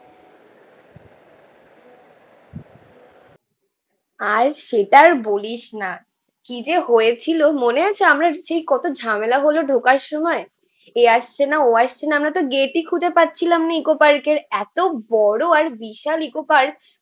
আর সেটা আর বলিস না, কি যে হয়েছিল মনে আছে আমরা সেই কত ঝামেলা হলো ঢোকার সময়। এ আসছেনা ও আসছেনা, আমরাতো গেটেই খুঁজে পাচ্ছিলাম না ইকো পার্কের। এতো বড়ো আর বিশাল ইকো পার্ক।